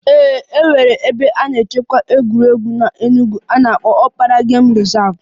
Ee e nwere ebe nchekwa egwuregwu n'Enugwu a na-akpọ Okpara game reserve